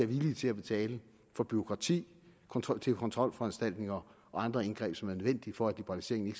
villige til at betale for bureaukrati kontrolforanstaltninger og andre indgreb som er nødvendige for at liberaliseringen